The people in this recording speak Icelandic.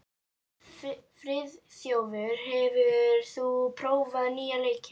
Friðþjófur, hefur þú prófað nýja leikinn?